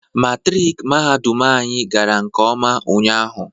Matrik mahadum anyị gara nkeọma ụnyaahụ